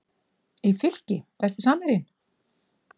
í Fylki Besti samherjinn?